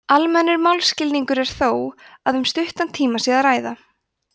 almennur málskilningur er þó að um stuttan tíma sé að ræða